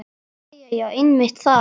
Jæja já, einmitt það.